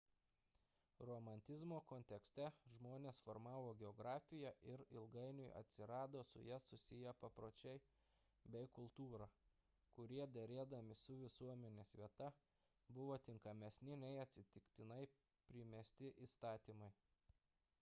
romantizmo kontekste žmones formavo geografija ir ilgainiui atsirado su ja susiję papročiai bei kultūra kurie derėdami su visuomenės vieta buvo tinkamesni nei atsitiktinai primesti įstatymai